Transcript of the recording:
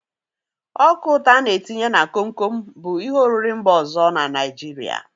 Ọka ụtọ a n-etinye na komkom bụ ihe oriri mba ọzọ na Naijiria.